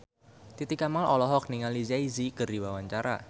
Titi Kamal olohok ningali Jay Z keur diwawancara